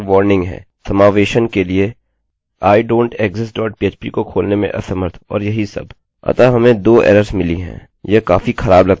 हमारे पास यहाँ पर एक और वार्निंग है समावेशन के लिए idontexist dot php को खोलने में असमर्थ और यही सब अतः हमें २ एरर्सerrors मिली हैं